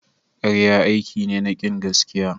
Karya aiki ne na kin gaskiya.